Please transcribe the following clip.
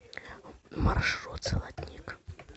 маршрут золотник